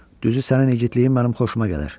Düzü, sənin igidliyin mənim xoşuma gəlir.